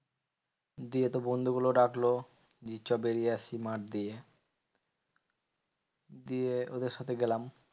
দিয়ে তো বন্ধু গুলো ডাকলো চ বেরিয়ে আসি মাঠ দিয়ে। দিয়ে ওদের সাথে গেলাম।